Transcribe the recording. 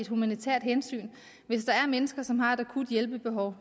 et humanitært hensyn hvis der er mennesker som har et akut hjælpebehov